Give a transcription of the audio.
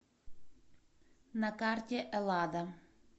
на карте эллада